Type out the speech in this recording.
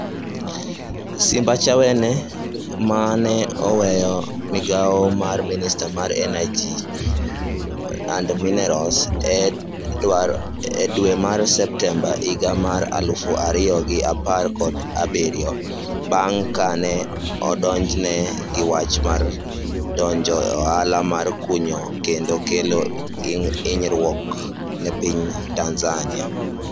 Simbachawene ma ne oweyo migawo mar Minista mar Energy and Minerals e dwe mar Septemba higa mar aluf ariyo gi apar kod abiriyo, bang' ka ne odonjne gi wach mar donjo e ohala mar kunyo kendo kelo hinyruok ne piny Tanzania.